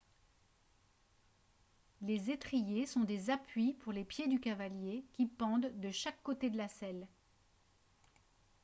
les étriers sont des appuis pour les pieds du cavalier qui pendent de chaque côté de la selle